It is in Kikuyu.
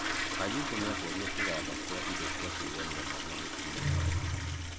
Jakubũ nĩacereĩre kĩganda kĩa Indo cĩa kwĩgemĩa marĩ na mũtũmĩa wake